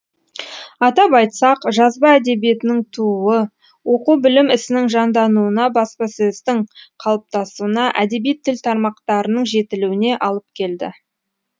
атап айтсақ жазба әдебиетінің тууы оқу білім ісінің жандануына баспасөздің қалыптасуына әдеби тіл тармақтарының жетілуіне алып келді